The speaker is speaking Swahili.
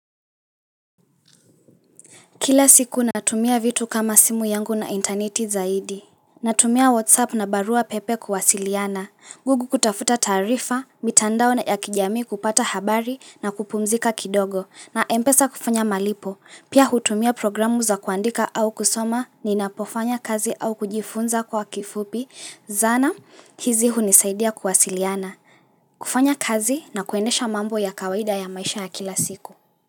Kila siku natumia vitu kama simu yangu na interneti zaidi, natumia whatsapp na barua pepe kuwasiliana, google kutafuta taarifa, mitandao na ya kijamii kupata habari na kupumzika kidogo, na mpesa kufanya malipo, pia hutumia programu za kuandika au kusoma ninapofanya kazi au kujifunza kwa kifupi, zana hizi hunisaidia kuwasiliana, kufanya kazi na kuendesha mambo ya kawaida ya maisha ya kila siku.